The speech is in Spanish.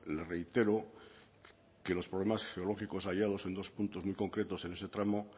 le reitero que los problemas geológicos hallados en dos puntos muy concretos en ese tramo